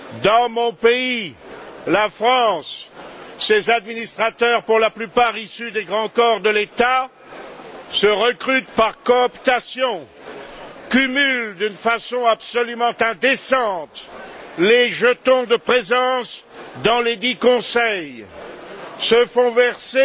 Dans mon pays, la France, ces administrateurs, pour la plupart issus des grands corps de l'État, se recrutent par cooptation, cumulent d'une façon absolument indécente les jetons de présence dans lesdits conseils, se font verser